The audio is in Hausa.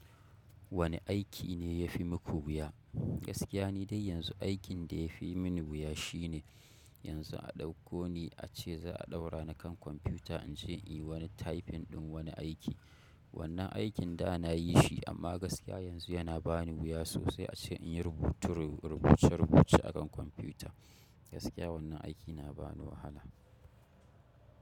Wane aiki ne ya fi muku wuya? Gaskiya ni dai yanzu aikin da yafi min wuya shine yanzu a dauko ni ace za'a daurani a kan confuta inyi tafin din wani aiki. Wannan aikin da na yi shi amma gaskiya yanzu yana ba ni wuya sosai a ce in yi rubutu, rubuce-rubuce a kan kwamfuta. Gaskiya wannan aiki na ba ni wahala.